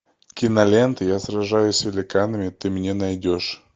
кинолента я сражаюсь с великанами ты мне найдешь